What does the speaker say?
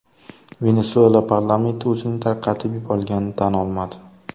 Venesuela parlamenti o‘zining tarqatib yuborilganini tan olmadi.